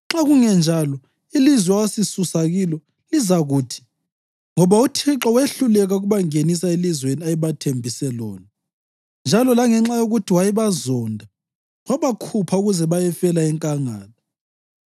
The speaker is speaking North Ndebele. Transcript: Nxa kungenjalo ilizwe owasisusa kilo lizakuthi, “Ngoba uThixo wehluleka ukubangenisa elizweni ayebathembise lona, njalo langenxa yokuthi wayebazonda, wabakhupha ukuze bayefela enkangala.”